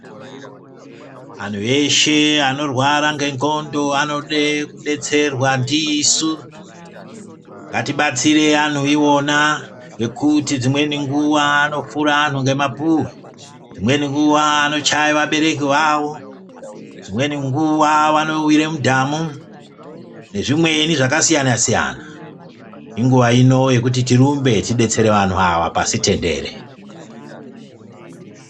Anhu eshe anorwara nendxondo anode kutobetserwa ndisu. Ngatibatsirei vanhu ivoma ngekuti dzimweni nguva vanopfure vanhu nemapuhwe, dzimweni nguva vanochaye vabereki vavo, dzimweni nguva vanowire mudhamu nezvimweni zvakasiyana siyana. Inguva ino yekuti tirumbe tibetsere vanhu ava pasi tendere.